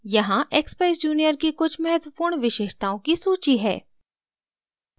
यहाँ expeyes junior की कुछ मत्वपूर्ण विशेषताओं की सूची है